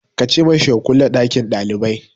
Ka ce ma shi ya kulle ɗakin ɗalibai!